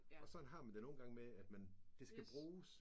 Og sådan har man det nogle gange med at man det skal bruges